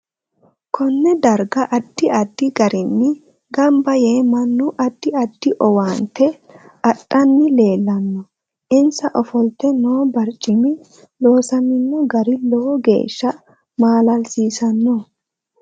KOnne darga addi addi garinni ganba yee mannu. addi addi owaante adhanni leelanno insa ofolte noo barcimi loosamino gari lowo geesha maalasiisanno